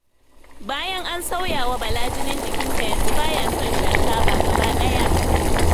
Bayan an sauyawa Bala jinin jikinsa yanzu baya son shan taba gaba ɗaya.